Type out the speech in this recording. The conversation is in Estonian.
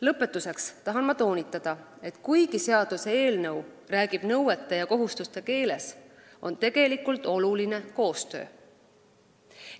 Lõpetuseks tahan toonitada, et kuigi seaduseelnõu räägib nõuete ja kohustuste keeles, on tegelikult tähtis koostöö.